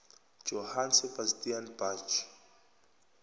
johann sebastian bach